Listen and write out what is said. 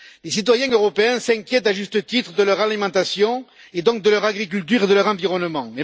Les citoyens européens s'inquiètent à juste titre de leur alimentation et donc de leur agriculture et de leur environnement.